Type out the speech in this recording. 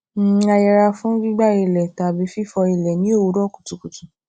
um a yẹra fún gbígbá ilẹ tàbí fífọ ilẹ ní òwúrò kùtùkùtù